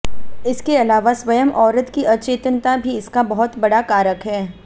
इसके अलावा स्वयं औरत की अचेतनता भी इसका बहुत बड़ा कारक है